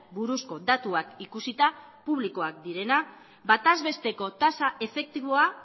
buruzko datuak ikusita publikoak direnak bataz besteko tasa efektiboa